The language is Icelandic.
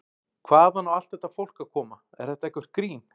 Hvaðan á allt þetta fólk að koma, er þetta eitthvert grín?